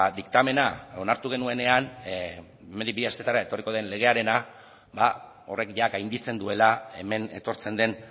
diktamena onartu genuenean hemendik bi astetara etorriko den legearena ba horrek gainditzen duela hemen etortzen den